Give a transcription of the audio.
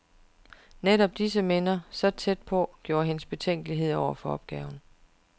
Netop disse minder, så tæt på, gjorde hende betænkelig over for opgaven.